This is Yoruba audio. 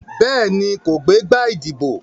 Béèni, kò gbé igbá ìdìbò.